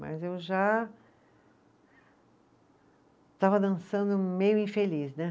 Mas eu já estava dançando meio infeliz, né?